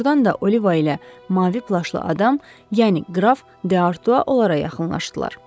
Doğrudan da Oliva ilə mavi plaşlı adam, yəni qraf De Artua onlara yaxınlaşdılar.